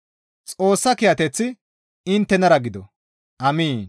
Xoossa kiyateththi inttenara gido. Amiin.